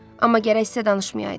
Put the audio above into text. Amma gərək sizə danışmayaydılar.